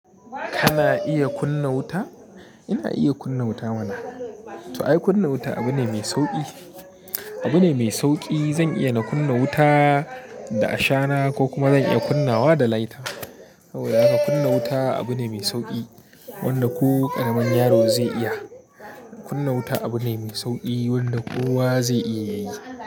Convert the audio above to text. Kana iya kunna wuta? Ina iya kunna wuta mana. To ai, kunna wuta abu ne mai sauƙi. Abu ne mai sauƙi. Zan iya na kunna wuta da ashana ko kuma zan iya kunnawa da lighter. Saboda haka, kunna wuta abu ne mai sauƙi wanda ko ƙaramin yaro zai iya. Kunna wuta abu ne mai sauƙi wanda kowa zai iya yi.